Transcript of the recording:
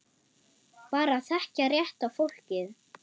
Bara að þekkja rétta fólkið.